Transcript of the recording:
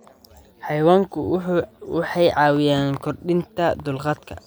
Xayawaanku waxay caawiyaan kordhinta dulqaadka.